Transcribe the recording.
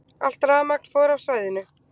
Allt rafmagn fór af svæðinu